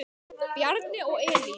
Bjarni og Elín.